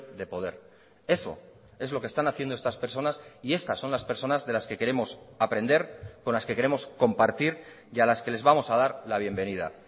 de poder eso es lo que están haciendo estas personas y estas son las personas de las que queremos aprender con las que queremos compartir y a las que les vamos a dar la bienvenida